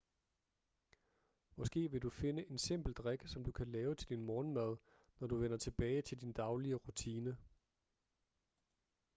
måske vil du finde en simpel drik som du kan lave til din morgenmad når du vender tilbage til din daglige rutine